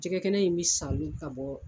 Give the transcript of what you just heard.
Jɛgɛkɛnɛ in bɛ salo ka bɔ